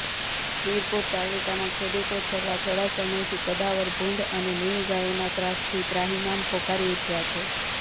વિરપુર તાલુકાના ખેડૂતો છેલ્લા થોડા સમયથી કદાવર ભૂંડ અને નીલગાયોના ત્રાસથી ત્રાહિમામ્ પોકારી ઉઠયા છે